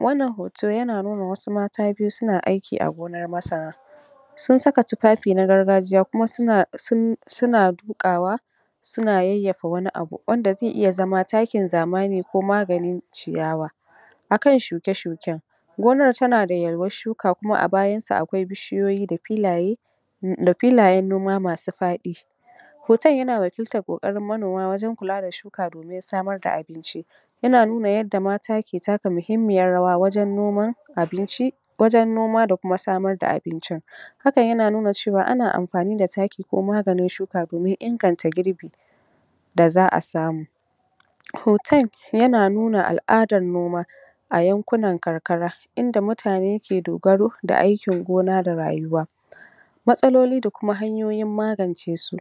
wannan hoto yana nuna wasu mata biyu suna aiki a gonar masara sun saka tufafi na gargajiya kuma suna duƙawa suna yayyafa wani abu wanda ze iya zama takin zamani ko maganin ciyawa a kan shuke-shuken gonar tana da yalwar shuka kuma a bayan su akwai bishiyoyi da filaye da filayen noma masu faɗi hoton yana wakiltar ƙoƙarin manoma wajen kula da shuka domin samar da abinci yana nuna yadda mata ke taka muhimmiyar rawa wajen noma abinci wajen noma da kuma samar da abinci hakan yana nuna cewa ana amfani da taki ko maganin shuka domin inganta girbi da za'a samu hoton yana nuna al'adar noma a yankunan karkara inda mutane ke dogaro da aikin gona da rayuwa matsaloli da kuma hanyoyin magance su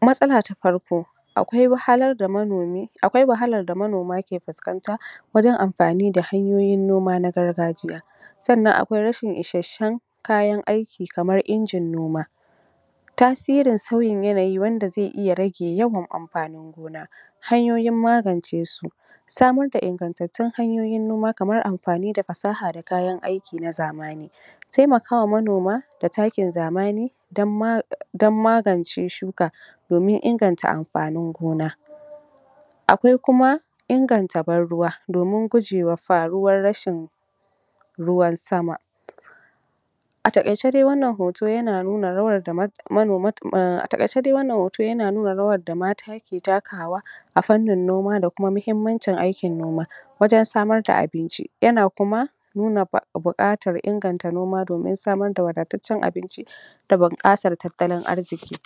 matsala ta farko akwai wahalar da manomi akwai wahalar da manoma ke fuskanta wajen amfani da hanyoyin noma na gargajiya sannan akwai rashin isashshen kayan aiki kamar injin noma tasirin sauyin yanayi wanda ze iya rage yawan amfanin gona hanyoyin magance su samar da ingatattun hanyoyin noma kamar amfani da fasaha da kayan aiki na zamani temakawa manoma da takin zamani don magance shuka domin inganta amfanin gona akwai kuma inganta ban ruwa domin gujewa faruwar rashin ruwan sama a taƙaice da wannan hoto yana nuna rawar da a taƙaice dai wannan hoto yana nuna rawar da mata ke takawa a fannin noma da kuma muhimmancin aikin noma wajen samar da abinci yana kuma nuna buƙatar inganta noma domin samar da wadataccen abinci da bunƙasar tattalin arziƙi